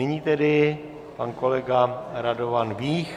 Nyní tedy pan kolega Radovan Vích.